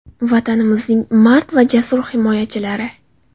Vatanimizning mard va jasur himoyachilari!